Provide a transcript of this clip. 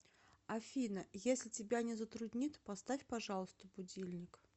афина если тебя не затруднит поставь пожалуйста будильник